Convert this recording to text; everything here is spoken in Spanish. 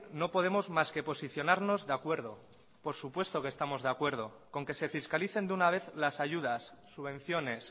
no podemos mas que posicionarnos de acuerdo por supuesto que estamos de acuerdo con que se fiscalicen de una vez las ayudas subvenciones